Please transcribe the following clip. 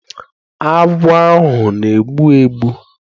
Agwọ ahu na-egbu egbu